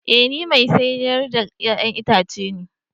Ee ni mai siyar da 'ya'yan itace ne